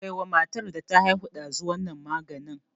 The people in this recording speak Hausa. Kai wa matar da ta haihu ɗazu wannan maganin!